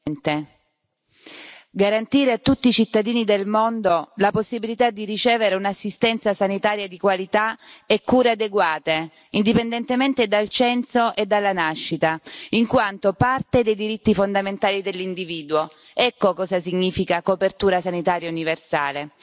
Signor Presidente, onorevoli colleghi, garantire a tutti i cittadini del mondo la possibilità di ricevere un'assistenza sanitaria di qualità e cure adeguate, indipendentemente dal censo e dalla nascita, in quanto parte dei diritti fondamentali dell'individuo ecco cosa significa copertura sanitaria universale.